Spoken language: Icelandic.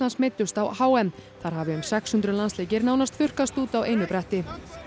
meiddust á h m þar hafi um sex hundruð landsleikir nánast þurrkast út á einu bretti